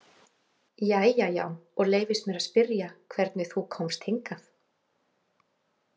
Jæja já, og leyfist mér að spyrja hvernig þú komst hingað?